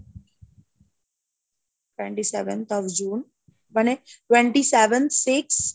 twenty-sevenths of June মানে twenty seven six